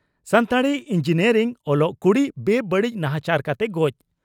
Santali engineering ᱚᱞᱚᱜ ᱠᱩᱲᱤ ᱵᱮᱼᱵᱟᱹᱲᱤᱡ ᱱᱟᱦᱟᱪᱟᱨ ᱠᱟᱛᱮ ᱜᱚᱡ